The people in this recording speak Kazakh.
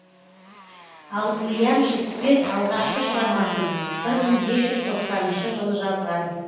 ал уильям шекспир алғашқы шығармасын бір мың бес жүз тоқсаныншы жылы жазған